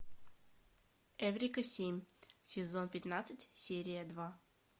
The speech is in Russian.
эврика семь сезон пятнадцать серия два